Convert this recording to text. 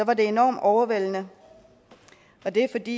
var det enormt overvældende og det er fordi